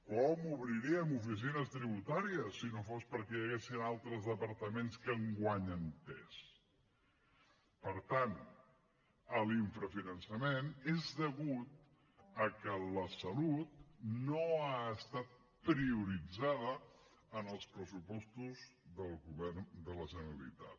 com obriríem oficines tributàries si no fos perquè hi ha altres departaments que guanyen pes per tant l’infrafinançament és degut a que la salut no ha estat prioritzada en els pressupostos del govern de la generalitat